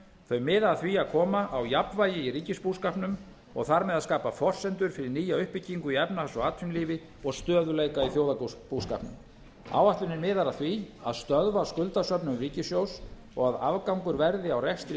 þau miða að því að koma á jafnvægi í ríkisbúskapnum og þar með að skapa forsendur fyrir nýja uppbyggingu í efnahags og atvinnulífi og stöðugleika í þjóðarbúskapnum áætlunin miðar að því að stöðva skuldasöfnun ríkissjóðs og að afgangur verði á rekstri